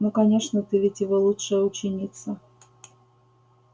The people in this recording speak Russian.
ну конечно ты ведь его лучшая ученица